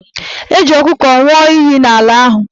E ji ọkụkọ nwụọ iyi ala ahụ